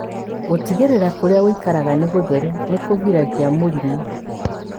Gũtigĩrĩra atĩ kũrĩa ũikaraga nĩ gũtheru nĩ kũgiragia mũrimũ.